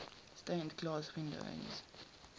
stained glass windows